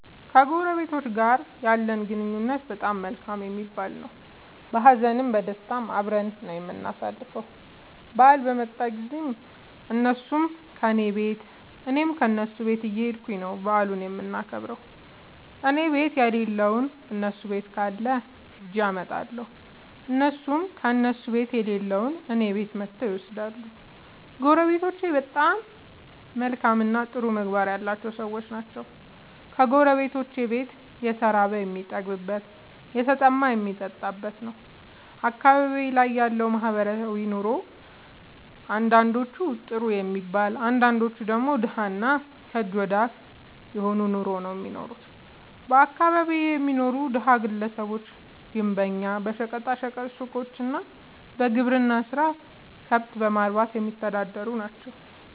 ከጎረቤቶቸ ጋር ያለኝ ግንኙነት በጣም መልካም የሚባል ነዉ። በሀዘንም በደስታም አብረን ነዉ የምናሣልፈዉ በአል በመጣ ጊዜም እነሡም ከኔ ቤት እኔም ከነሡ ቤት እየኸድኩ ነዉ በዓሉን የምናከብር እኔቤት የለለዉን እነሡ ቤት ካለ ኸጀ አመጣለሁ። እነሡም ከእነሡ ቤት የሌለዉን እኔ ቤት መጥተዉ ይወስዳሉ። ጎረቤቶቸ መልካምእና ጥሩ ምግባር ያላቸዉ ሠዎች ናቸዉ። የጎረቤቶቼ ቤት የተራበ የሚጠግብበት የተጠማ የሚጠጣበት ነዉ። አካባቢዬ ላይ ያለዉ ማህበራዊ ኑሮ አንዳንዶቹ ጥሩ የሚባል አንዳንዶቹ ደግሞ ደሀ እና ከእጅ ወደ አፍ የሆነ ኑሮ ነዉ እሚኖሩት በአካባቢየ የሚኖሩት ደሀ ግለሰቦች ግንበኛ በሸቀጣ ሸቀጥ ሡቆች እና በግብርና ስራ ከብት በማርባትየሚተዳደሩ ናቸዉ።